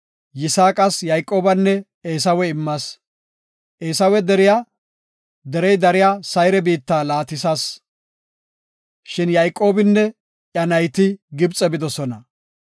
Yisaaqas Yayqoobanne Eesawe immas. Derey dariya Sayre biitta Eesawe laatisas, shin Yayqoobinne iya nayti Gibxe bidosona.